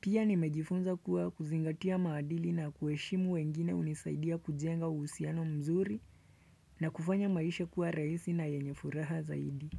Pia nimejifunza kuwa kuzingatia maadili na kueshimu wengine hunisaidia kujenga uhusiano mzuri na kufanya maisha kuwa rahisi na yenye furaha zaidi.